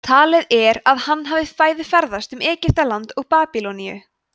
talið er að hann hafi bæði ferðast um egyptaland og babýloníu